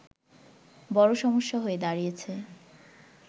বড় সমস্যা হয়ে দাঁড়িয়েছে